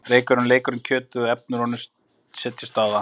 Reykurinn leikur um kjötið og efni úr honum setjast á það.